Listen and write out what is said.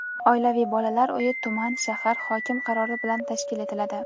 oilaviy bolalar uyi tuman (shahar) hokimi qarori bilan tashkil etiladi.